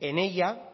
en ella